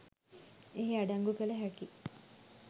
එහි අඩංගු කළ හැකියි.